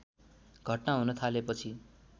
घटना हुन थालेपछि